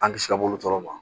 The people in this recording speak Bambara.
An kisi a bolo tɔɔrɔ ma